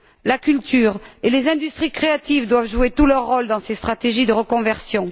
La culture et les industries créatives doivent jouer pleinement leur rôle dans ces stratégies de reconversion.